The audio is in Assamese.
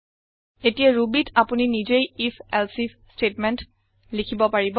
এতিয়া Rubyত আপুনি নিজেই আইএফ এলছেইফ ষ্টেটমেন্ট লিখিব পাৰিব